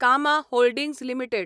कामा holdings limited